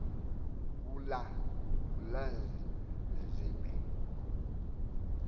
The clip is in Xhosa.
ulanzibe